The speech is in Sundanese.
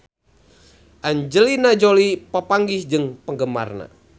Angelina Jolie papanggih jeung penggemarna